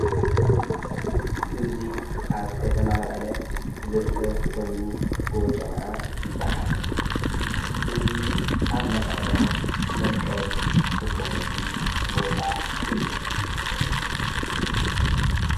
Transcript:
እዙይ ኣብ ከተማ መቀለ ዝርከብ ኮይኑ ጐቦ ጮምዓ ይበሃል እዙይ ኣብ መቐለ መስቀል ዝኽበረሉ ቦታ እዩ::